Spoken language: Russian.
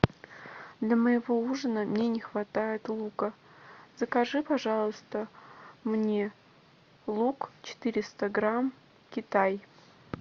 для моего ужина мне не хватает лука закажи пожалуйста мне лук четыреста грамм китай